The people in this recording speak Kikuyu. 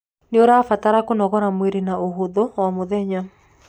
niũrabatara kũnogora mwĩrĩ na ũhũthũ o mũthenya